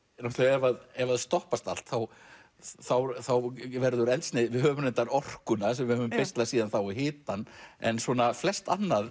ef ef að stoppast allt þá þá þá verður eldsneyti við höfum reyndar orkuna sem við höfum beislað síðan þá og hitann en flest annað